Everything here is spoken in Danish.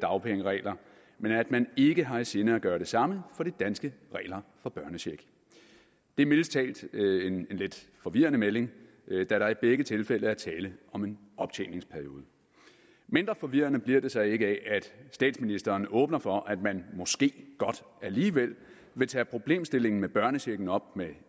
dagpengeregler men at man ikke har i sinde at gøre det samme for de danske regler for børnecheck det er mildest talt en lidt forvirrende melding da der i begge tilfælde er tale om en optjeningsperiode mindre forvirrende bliver det så ikke af at statsministeren åbner for at man måske godt alligevel vil tage problemstillingen med børnechecken op med